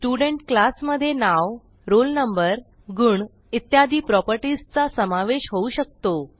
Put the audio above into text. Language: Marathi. स्टुडेंट क्लास मधे नाव रोल नंबर गुण इत्यादी प्रॉपर्टीज चा समावेश होऊ शकतो